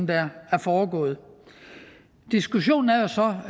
der er foregået diskussionen er jo så